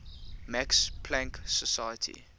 max planck society